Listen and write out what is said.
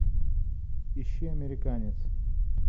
ищи американец